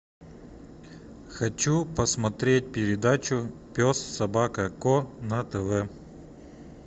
хочу посмотреть передачу пес собака ко на тв